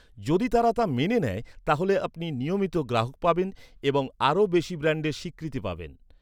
যদি তারা তা মেনে নেয়, তাহলে আপনি নিয়মিত গ্রাহক পাবেন এবং আরও বেশি ব্র্যান্ডের স্বীকৃতি পাবেন!